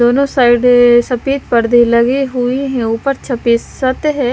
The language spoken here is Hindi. दोनों साइड सफेद पर्दे लगे हुए हैं ऊपर छपेस सत है।